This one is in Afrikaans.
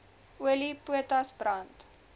olie potas brand